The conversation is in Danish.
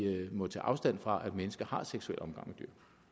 må tage afstand fra altså at mennesker har seksuel omgang